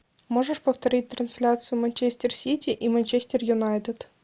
можешь повторить трансляцию манчестер сити и манчестер юнайтед